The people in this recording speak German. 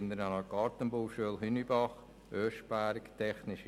– Es wird nicht gewünscht.